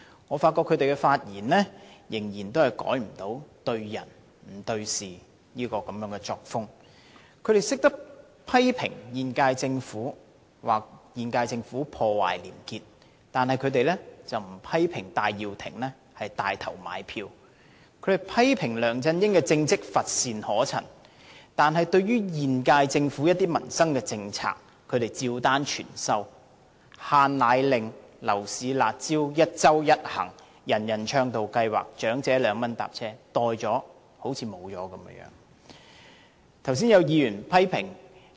我發覺他們仍然無法改變"對人不對事"的作風。他們懂得批評現屆政府破壞廉潔，卻沒有批評戴耀廷牽頭"買票"；他們批評梁振英的政績乏善可陳，但對於現屆政府一些民生政策，他們卻照單全收，包括"限奶令"、樓市"辣招"、一周一行、"人人暢道通行"計劃、長者2元乘車優惠，接受後仿如沒了一樣。